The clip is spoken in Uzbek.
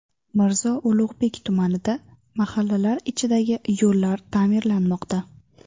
Mirzo Ulug‘bek tumanida mahallalar ichidagi yo‘llar ta’mirlanmoqda .